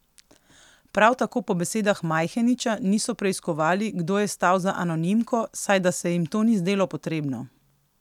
Prav tako po besedah Majheniča niso preiskovali, kdo je stal za anonimko, saj da se jim to ni zdelo potrebno.